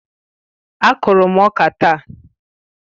Á kụrụ m ọka taa